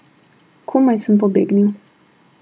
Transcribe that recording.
Komaj sem pobegnil.